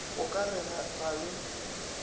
go ka re ga le